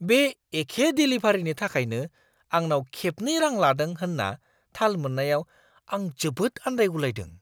बे एखे देलिभारिनि थाखायनो आंनाव खेबनै रां लादों होन्ना थाल मोन्नायाव आं जोबोद आन्दायगुलायदों।